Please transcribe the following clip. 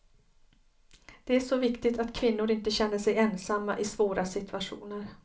Det är så viktigt att kvinnor inte känner sig ensamma i svåra situationer.